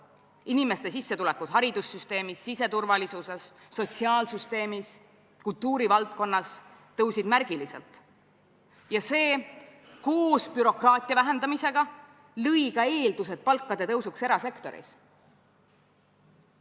Inimeste sissetulekud haridussüsteemis, siseturvalisuses, sotsiaalsüsteemis, kultuurivaldkonnas tõusid märgiliselt ja see koos bürokraatia vähendamisega lõi ka eeldused palkade tõusuks erasektoris.